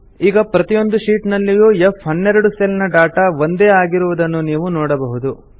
ಈಗ ಪ್ರತಿಯೊಂದು ಶೀಟ್ ನಲ್ಲಿಯೂ ಫ್12 ಸೆಲ್ ನ ಡಾಟಾ ಒಂದೇ ಆಗಿರುವುದನ್ನು ನೀವು ನೋಡಬಹುದು